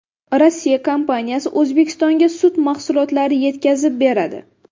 Rossiya kompaniyasi O‘zbekistonga sut mahsulotlari yetkazib beradi.